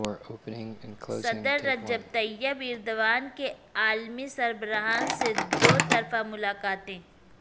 صدر Recep Tayyip Erdogan کی عالمی سربراہان سے دو طرفہ ملاقاتیں